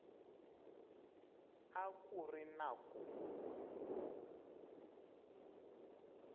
a ku ri na ku